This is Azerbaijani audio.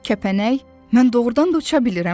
Kəpənək, mən doğurdan da uça bilirəm.